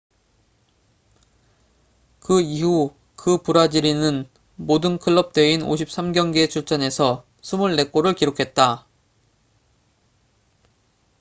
그 이후 그 브라질인은 모든 클럽 대회인 53경기에 출전해서 24골을 기록했다